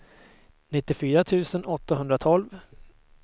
nittiofyra tusen åttahundratolv